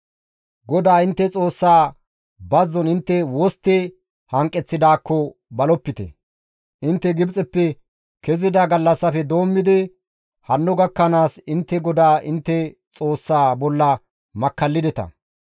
GODAA intte Xoossaa bazzon intte wostti hanqeththidaakko balopite; intte Gibxeppe kezida gallassafe doommidi hanno gakkanaas intte GODAA intte Xoossaa bolla makkallideta.